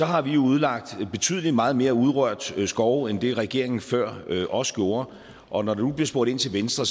har vi jo udlagt betydelig meget mere urørt skov end det regeringen før os gjorde og når der nu bliver spurgt ind til venstre